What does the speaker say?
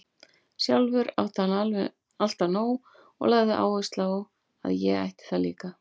Sjálfur átti hann alltaf nóg og lagði áherslu á að ég ætti það líka.